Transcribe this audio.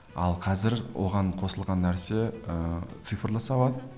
ал қазір оған қосылған нәрсе ыыы цифрлы сауат